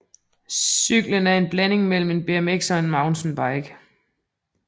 Cyklen er en blanding mellem en BMX og en mountainbike